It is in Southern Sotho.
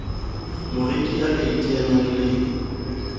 moreki a ka iteanyang le